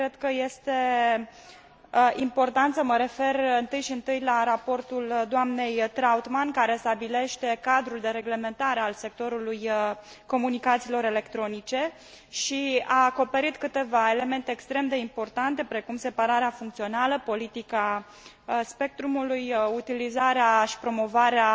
cred că este important să mă refer întâi și întâi la raportul doamnei Trautmann care stabilește cadrul de reglementare al sectorului comunicațiilor electronice și a acoperit câteva elemente extrem de importante precum separarea funcțională, politica spectrului, utilizarea și promovarea